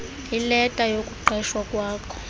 ileta yokuqeshwa kwakho